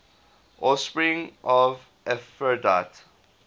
offspring of aphrodite